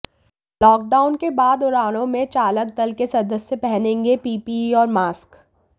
lockdown के बाद उड़ानों में चालक दल के सदस्य पहनेंगे पीपीई और मास्क